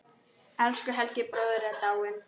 Elsku Helgi bróðir er dáinn.